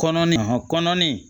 Kɔnɔ hɔ kɔnɔni